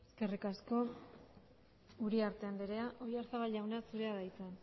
eskerrik asko uriarte andrea oyarzabaljauna zurea da hitza